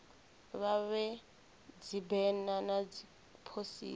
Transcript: vha vhee dzibena na dziphosita